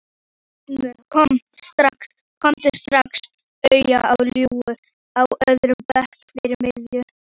Kom strax auga á Lilju á öðrum bekk fyrir miðju.